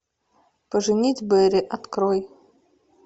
поженить бэрри открой